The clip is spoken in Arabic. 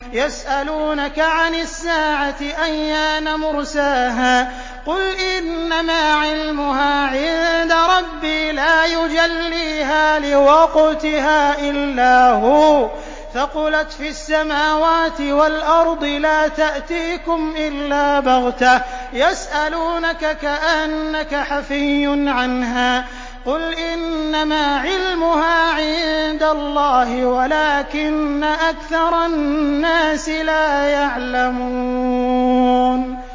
يَسْأَلُونَكَ عَنِ السَّاعَةِ أَيَّانَ مُرْسَاهَا ۖ قُلْ إِنَّمَا عِلْمُهَا عِندَ رَبِّي ۖ لَا يُجَلِّيهَا لِوَقْتِهَا إِلَّا هُوَ ۚ ثَقُلَتْ فِي السَّمَاوَاتِ وَالْأَرْضِ ۚ لَا تَأْتِيكُمْ إِلَّا بَغْتَةً ۗ يَسْأَلُونَكَ كَأَنَّكَ حَفِيٌّ عَنْهَا ۖ قُلْ إِنَّمَا عِلْمُهَا عِندَ اللَّهِ وَلَٰكِنَّ أَكْثَرَ النَّاسِ لَا يَعْلَمُونَ